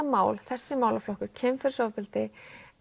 mál þessi málaflokkur kynferðisofbeldi